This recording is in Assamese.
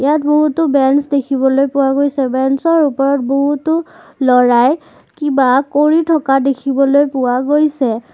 ইয়াত বহুতো বেঞ্চ দেখিবলৈ পোৱা গৈছে বেঞ্চ ৰ ওপৰত বহুতো ল'ৰাই কিবা কৰি থকা দেখিবলৈ পোৱা গৈছে।